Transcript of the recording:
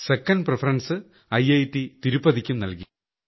second preference ഐറ്റ് തിരുപ്പതിയ്ക്കും നൽകി